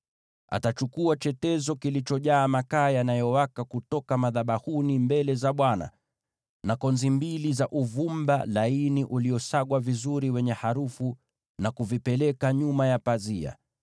Atachukua chetezo kilichojaa makaa yanayowaka kutoka madhabahuni mbele za Bwana , na konzi mbili za uvumba laini uliosagwa vizuri wenye harufu, na kuvipeleka nyuma ya pazia.